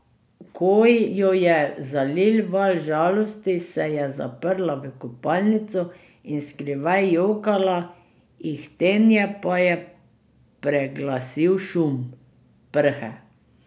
Ko jo je zalil val žalosti, se je zaprla v kopalnico in skrivaj jokala, ihtenje pa je preglasil šum prhe.